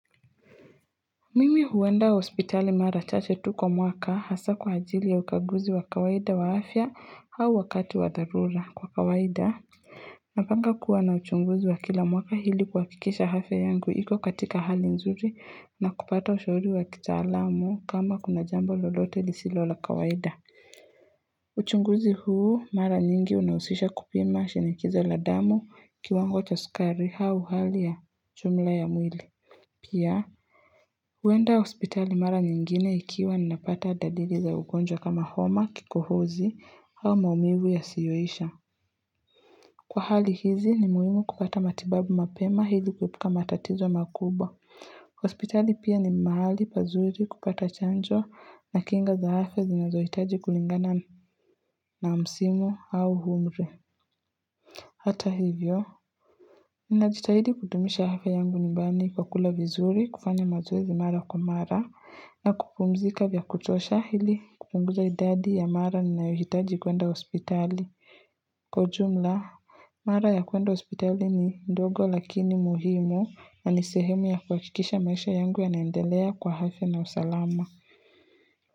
Mimi huenda hospitali mara chache tu kwa mwaka hasaa kwa ajili ya ukaguzi wa kawaida wa afya au wakati wa dharura, kwa kawaida Napanga kuwa na uchunguzi wa kila mwaka ili kuhakikisha afya yangu iko katika hali nzuri na kupata ushauri wa kitaalamu kama kuna jambo lolote lisilo la kawaida uchunguzi huu mara nyingi unahusisha kupima shinikizo la damu, kiwango cha sukari au hali ya jumla ya mwili Pia, huenda hospitali mara nyingine ikiwa ninapata dalili za ugonjwa kama homa, kikohozi au maumivu yasiyoisha. Kwa hali hizi ni muhimu kupata matibabu mapema ili kuepuka matatizo makubwa. Hospitali pia ni mahali pazuri kupata chanjo na kinga za afya zinazohitaji kulingana na msimu au umri. Hata hivyo, ninajitahidi kudumisha afya yangu nyumbani kwa kula vizuri, kufanya mazoezi mara kwa mara na kupumzika vya kutosha ili kupunguza idadi ya mara ninayohitaji kuenda hospitali. Kwa jumla, mara ya kuenda hospitali ni ndogo lakini muhimu na ni sehemu ya kuhakikisha maisha yangu yanaendelea kwa afya na usalama.